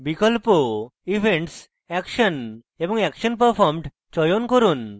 বিকল্প events action এবং action performed চয়ন করুন